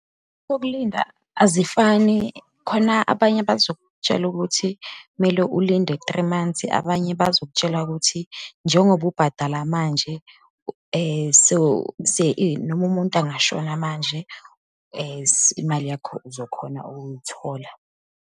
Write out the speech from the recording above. Sokulinda azifani, khona abanye abazokutshela ukuthi kumele ulinde three months, abanye bazokutshela ukuthi njengoba ubhadala manje, so, noma umuntu angashona manje imali yakho uzokhona ukuyithola.